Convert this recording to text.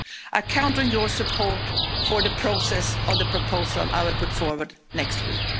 I count on your support for the process of the proposal that I will put forward next week.